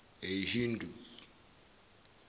ahindu